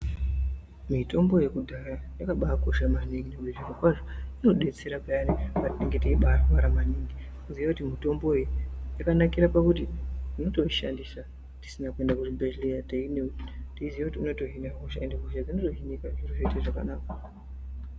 Mitombo yakudhaya yakabakosha maningi zvirokwazvo inobetsera payani patinenge teibarwara maningi. Kuziya mitombo uyu vakanakira pakuti unotoushandisa tisina kuenda kuzvibhedhleya teiziya kuti unotohina hosha ende hosha dzinotohinika zviro zvoite zvakanaka.